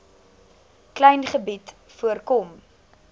klein gebied voorkom